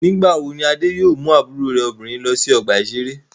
Nígbà wo ni Adé yóò mú àbúrò rẹ̀ obìnrin lọ sí ọgbà-ìṣeré?